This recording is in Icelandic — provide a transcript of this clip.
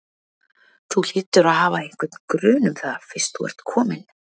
Þú hlýtur að hafa einhvern grun um það fyrst þú ert komin.